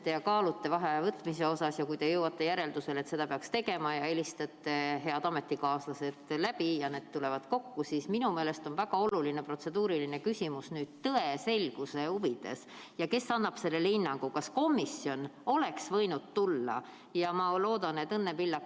Kui te kaalute vaheaja võtmist ja kui te jõuate järeldusele, et seda peaks tegema, ja helistate head ametikaaslased läbi ja need tulevad kokku, siis minu meelest on väga oluline protseduuriline küsimus tõe selguse huvides, et kes annab hinnangu sellele, kas komisjon oleks võinud tuua.